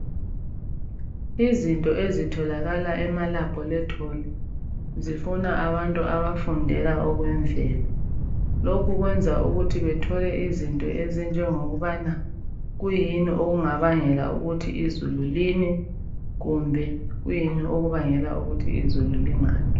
Izinto ezitholakala emalabhorethori zifuna abantu abafundela okokwemvelo lokhu kwenza ukuthi bethole izinto ezinjengokubana kuyini okungabangela ukuthi izulu line kumbe kuyini okubangela ukuthi izulu lingani